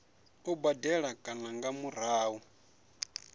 u badela kana nga murahu